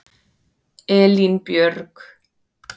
Elínbjörg